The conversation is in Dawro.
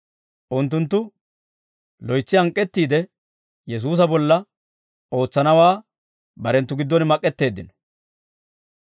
Unttunttu loytsi hank'k'eettiide Yesuusa bolla ootsanawaa barenttu giddon mak'k'eteeddino.